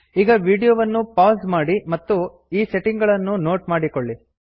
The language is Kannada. ಈಗ ವೀಡಿಯೋವನ್ನು ಪೌಸ್ ಮಾಡಿ ಮತ್ತು ಈ ಸೆಟ್ಟಿಂಗ್ ಗಳನ್ನು ನೋಟ್ ಮಾಡಿಕೊಳ್ಳಿ